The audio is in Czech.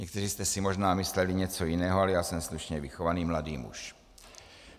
Někteří jste si možná mysleli něco jiného, ale já jsem slušně vychovaný mladý muž.